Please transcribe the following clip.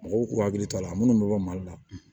Mɔgɔw k'u hakili to a la minnu bɛ bɔ mali la